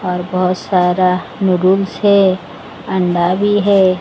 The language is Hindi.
और बहोत सारा नुडुल्स है अंडा भी है।